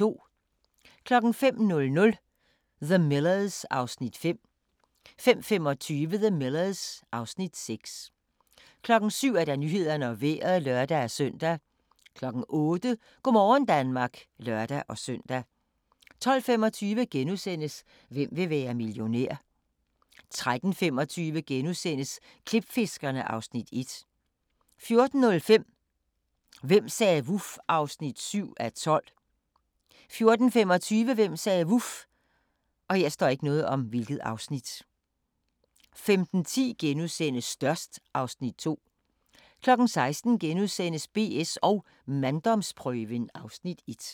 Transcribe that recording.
05:00: The Millers (Afs. 5) 05:25: The Millers (Afs. 6) 07:00: Nyhederne og Vejret (lør-søn) 08:00: Go' morgen Danmark (lør-søn) 12:25: Hvem vil være millionær? * 13:25: Klipfiskerne (Afs. 1)* 14:05: Hvem sagde vuf? (7:12) 14:25: Hvem sagde vuf? 15:10: Størst (Afs. 2)* 16:00: BS & manddomsprøven (Afs. 1)*